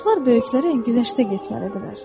Uşaqlar böyüklərə güzəştə getməlidirlər.